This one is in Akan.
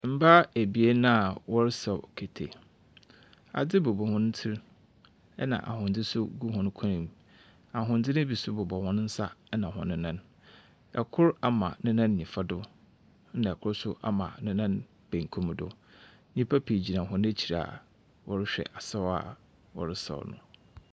Mbaa ebien a wɔresaw kete, adze bobɔ hɔn tsir na ahondze so gu hɔn kɔnmu, ahondze no bi so bobɔ hɔn nsa na hɔn nan. Kor ama ne nan nyimfa do na kor so ama ne nan bankum do. Nyimpa pii gyina hɔn ekyir a wɔrohwɛ asaw a wɔresaw no.